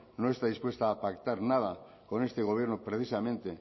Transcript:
no está dispuesta a pactar nada con este gobierno precisamente